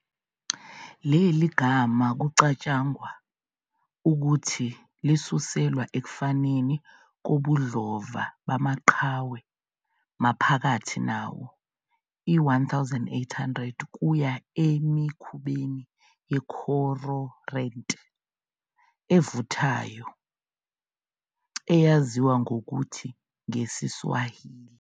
Leli gama kucatshangwa ukuthi lisuselwa ekufaneni kobudlova bamaqhawe maphakathi nawo-1800 kuya emikhubeni ye-cororant evuthayo eyaziwa ngokuthi ngesiSwahili.